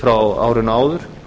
frá árinu áður